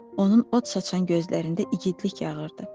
Onun od saşan gözlərində igidlik yağırdı.